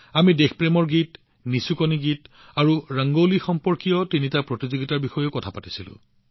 আমি দেশপ্ৰেমৰ ওপৰত গান নিচুকনি গীত আৰু ৰংগোলীৰ সৈতে সম্পৰ্কিত তিনিটা প্ৰতিযোগিতাৰ বিষয়েও কথা পাতিছিলো